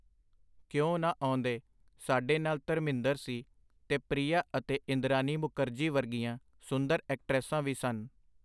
ਕਿਉਂ ਨਾ ਆਉਂਦੇ, ਸਾਡੇ ਨਾਲ ਧਰਮਿੰਦਰ ਸੀ, ਤੇ ਪ੍ਰੀਆ ਅਤੇ ਇੰਦਰਾਨੀ ਮੁਕਰਜੀ ਵਰਗੀਆਂ ਸੁੰਦਰ ਐਕਟਰੈਸਾਂ ਵੀ ਸਨ.